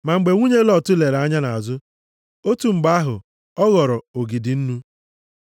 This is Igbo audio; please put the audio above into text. Ma mgbe nwunye Lọt lere anya nʼazụ, otu mgbe ahụ, ọ ghọrọ ogidi nnu.